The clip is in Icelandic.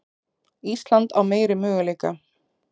Ísland á meiri möguleika